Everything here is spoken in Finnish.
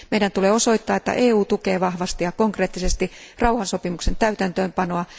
Meidän on osoitettava, että EU tukee vahvasti ja konkreettisesti rauhansopimuksen täytäntöönpanoa.